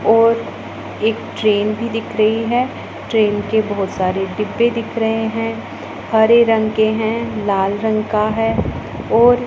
और एक ट्रेन भी दिख रही है ट्रेन के बहुत सारे डिब्बे दिख रहे हैं हरे रंग के हैं लाल रंग का है और--